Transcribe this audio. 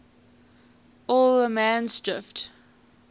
allemansdrift